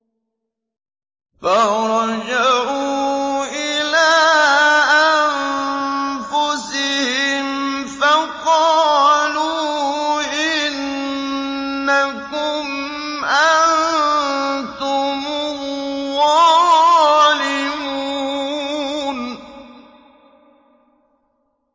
فَرَجَعُوا إِلَىٰ أَنفُسِهِمْ فَقَالُوا إِنَّكُمْ أَنتُمُ الظَّالِمُونَ